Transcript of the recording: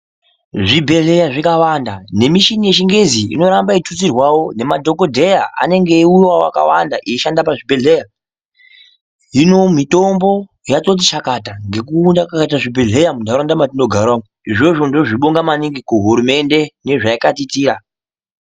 Zvibhedhleya zvikawanda nemishini yechingezi inotutsirwawo nemadhokodheya anenge eiwuyawo akawanda eishanda pazvibhedhleya , Hino mitombo yatoti chakata nekuwanda kwakaita zvibhedhleya munharawunda mwatinogara umwu , izvozvo ndinozvibonga maningi kuhurumende kune zvayakatiyitira